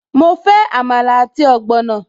Mo fẹ́ Àmàlà àti ogbono